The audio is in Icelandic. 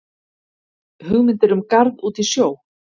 Hugmyndir um garð út í sjó